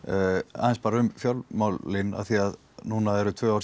aðeins bara um fjármálin af því að núna eru tvö ár